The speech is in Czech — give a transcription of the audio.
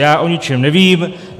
Já o ničem nevím.